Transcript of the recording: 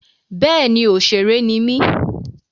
Bẹ́ẹ̀ni òṣèré ni mí.